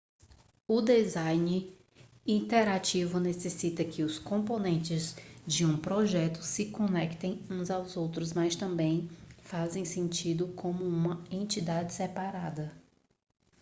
o design interativo necessita que os componentes de um projeto se conectem uns aos outros mas também façam sentido como uma entidade separada